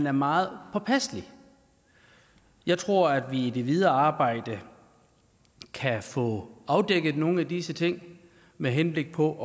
er meget påpasselig jeg tror at vi i det videre arbejde kan få afdækket nogle af disse ting med henblik på